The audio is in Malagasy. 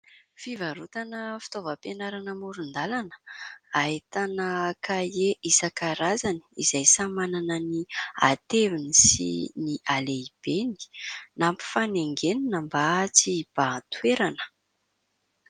Fivarotana fitaovam-pianarana amoron-dalana. Ahitana kahie isan-karazany, izay samy manana ny ateviny sy ny alehibeny ; nampifanaingenina mba tsy hibahan-toerana.